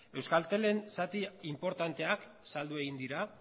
euskaltelen zati inportanteak saldu egin dira